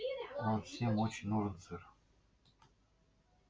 он всем очень нужен сэр